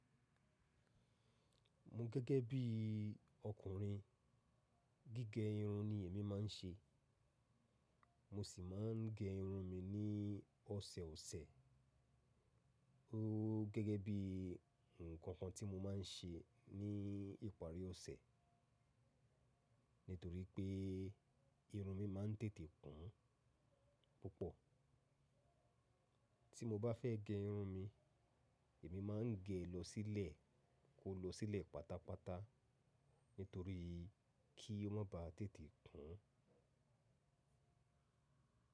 Emi gẹ́gẹ́ bí ọkùnrin gígẹ irun ni èmi máa ń ṣe. Mo sì máa ń gẹ irun mi ní ọ̀sẹ̀osẹ̀. Ó gẹ́gẹ́ bí ǹkan kan tí mo máa ń ṣe ní ìparí ọ̀sẹ̀. Nítorí pé irun mi máa ń tètè kún púpọ̀. Tí mo bá fẹ́ gẹ irun mi, èmi máa ń gẹ lọ sílẹ̀, kó lọ sílẹ̀ pátápátá. Nítorí kí ó má ba tètè kún.